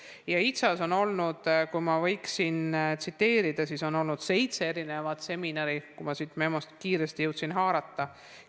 HITSA-s on olnud, kui ma võiksin tsiteerida, seitse erinevat seminari, nagu ma siit memost kiiresti jõudsin haarata.